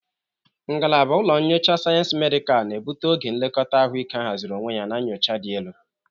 Ngalaba ụlọ nyocha Sayensị Medikal na-ebute oge nlekọta ahụike ahaziri onwe ya na nyocha dị elu.